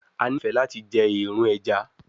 A nifẹ lati jẹ eerun ẹja